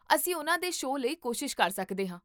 ਅਸੀਂ ਉਨ੍ਹਾਂ ਦੇ ਸ਼ੋਅ ਲਈ ਕੋਸ਼ਿਸ਼ ਕਰ ਸਕਦੇ ਹਾਂ